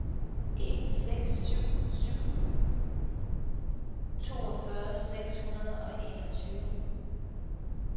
en seks seks syv toogfyrre seks hundrede og enogtyve